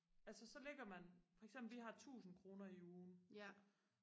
altså så ligger man for eksempel vi har tusind kroner i ugen